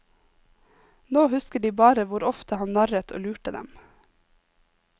Nå husker de bare hvor ofte han narret og lurte dem.